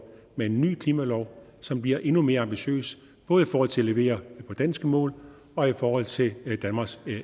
med en ny klimalov som bliver endnu mere ambitiøs både i forhold til at levere på danske mål og i forhold til danmarks